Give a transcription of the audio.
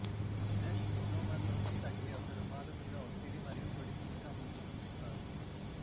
brush monomer లోకి తగ్గే ఒక రుమాలు మీద ఒత్తిడి మరియు పొడి చిట్కా ముంచి ఉంచుతారు